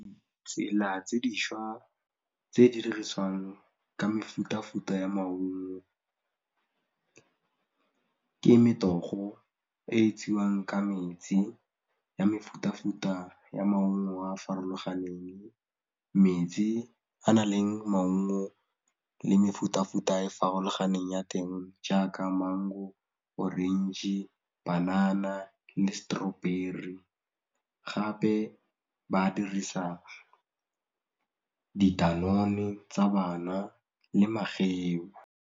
Tsela tse dišwa tse di dirisiwang ka mefutafuta ya maungo ke metogo e etsiwang ka metsi ya mefutafuta ya maungo a a farologaneng, metsi a na leng maungo le mefutafuta e farologaneng ya teng jaaka mango, orange, banana le strawberry gape ba dirisa di-danone tsa bana le mageu.